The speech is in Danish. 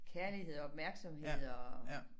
Kærlighed og opmærksomhed og